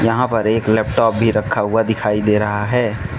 यहां पर एक लैपटॉप भी रखा हुआ दिखाई दे रहा है।